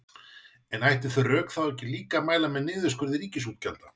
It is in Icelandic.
En ættu þau rök þá ekki líka að mæla með niðurskurði ríkisútgjalda?